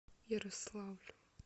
ярославлю